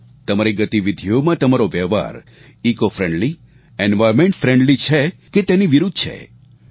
તમારી ગતિવિધીઓમાં તમારો વ્યવહાર ઇકોફ્રેન્ડલી એન્વાયર્નમેન્ટ ફ્રેન્ડલી છે કે તેની વિરૂદ્ધ છે